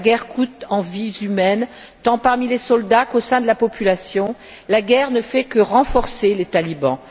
La guerre coûte en vies humaines tant parmi les soldats qu'au sein de la population, la guerre ne fait que renforcer les talibans.